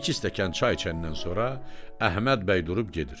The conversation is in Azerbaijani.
Bir-iki stəkan çay içəndən sonra Əhməd bəy durub gedir.